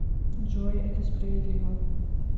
джой это справедливо